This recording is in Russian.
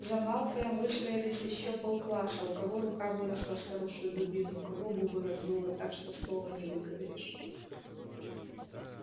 за малфоем выстроилось ещё пол класса у кого рука выросла с хорошую дубину у кого губы раздуло так что слова не выговоришь